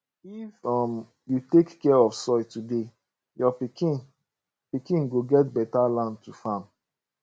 if um you take care of soil today your pikin pikin go get beta land to farm